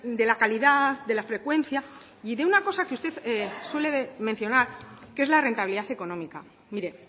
de la calidad de la frecuencia y de una cosa que usted suele mencionar que es la rentabilidad económica mire